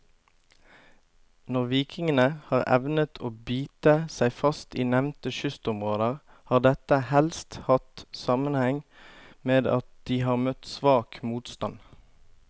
Når vikingene har evnet å bite seg fast i nevnte kystområder, har dette helst hatt sammenheng med at de har møtt svak motstand.